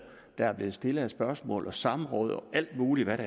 der er blevet stillet af spørgsmål og samråd og alt muligt